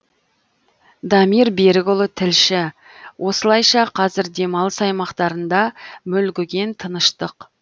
дамир берікұлы тілші осылайша қазір демалыс аймақтарында мүлгіген тыныштық